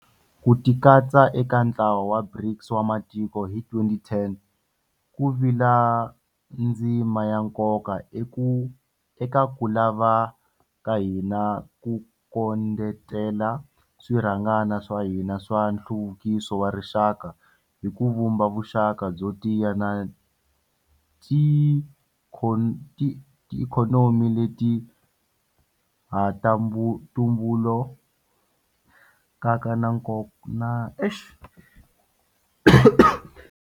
Ku tikatsa eka ntlawa wa BRICS wa matiko hi 2010 ku vile ndzima ya nkoka eka ku lava ka hina ku kondletela swirhangana swa hina swa nhluvukiso wa rixaka hi ku vumba vuxaka byo tiya na tiikhonomi leti ha tumbulukaka na nkoka.